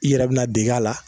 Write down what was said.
I yɛrɛ bi na deg'ala